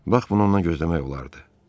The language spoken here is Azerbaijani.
Bax bunu ondan gözləmək olardı.